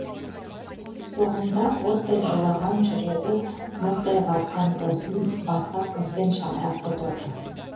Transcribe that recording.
соңында оттай тулаған жүрегі мұздай қатқан досым басқа қызбен шаңырақ көтерді